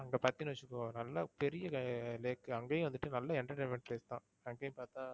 அங்க பாத்தேன்னு வச்சிக்கோ நல்லா பெரிய lake அங்கேயே வந்துட்டு நல்லா entertainment இருக்கும். அங்கேயும் பாத்தா